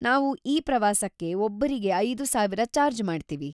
ನಾವು ಈ ಪ್ರವಾಸಕ್ಕೆ ಒಬ್ಬರಿಗೆ ಐದು ಸಾವಿರ ಚಾರ್ಜ್‌ ಮಾಡ್ತೀವಿ.